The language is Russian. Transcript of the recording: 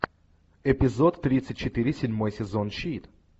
эпизод тридцать четыре седьмой сезон щит